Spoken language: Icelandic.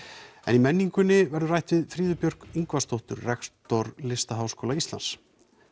í menningunni verður rætt við Fríðu Björk Ingvarsdóttur rektor Listaháskóla Íslands